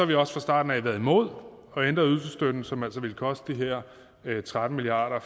vi også fra starten af været imod at ændre ydelsesstøtten som altså ville koste de her tretten milliarder